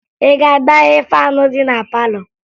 Ị ga-agbaghe faanụ dị na palọ?